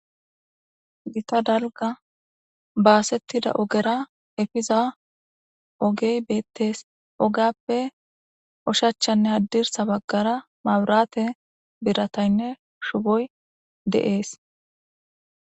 Gita dalga baasettida ogera efiza ogey beettees ogappe oshachanne haddirsa baggara maburate birataynne shuboy deees.